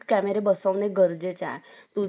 तू camera जर बसवशील